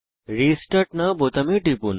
restart now বোতামে টিপুন